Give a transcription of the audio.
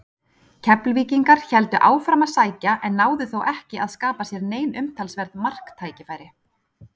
Keflvíkingar héldu áfram að sækja en náðu þó ekki að skapa sér nein umtalsverð marktækifæri.